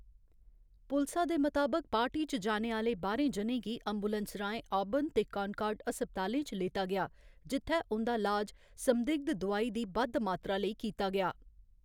पुलसा दे मताबक, पार्टी च जाने आह्‌ले बाह्‌रें जनें गी एम्बुलेंस राहें आबर्न ते कानकार्ड अस्पतालें च लेता गेआ, जित्थै उं'दा लाज संदिग्ध दोआई दी बद्ध मात्रा लेई कीता गेआ।